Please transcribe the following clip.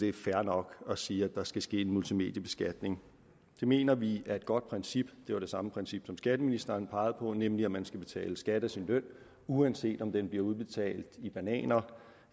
er fair nok at sige at der skal ske en multimediebeskatning det mener vi er et godt princip det var det samme princip som skatteministeren pegede på nemlig at man skal betale skat af sin løn uanset om den bliver udbetalt i bananer